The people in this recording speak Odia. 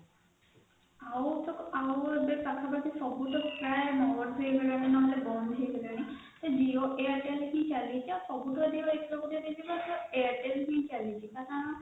ଆଉ ଏବେ ସବୁ ପାଖା ପାଖି ସବୁ ଭଲ ଚାଳୁଛି Jio airtel ହି ଚାଳୁଛି ସବୁଠୁ ଅଧିକ expert sir airtel ହି ସବୁଠୁ ଭଲ ଚାଳୁଛି କାରଣ